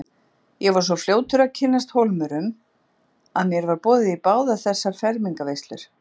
Ég var svo fljótur að kynnast Hólmurum að mér var boðið í báðar þessar fermingarveislur.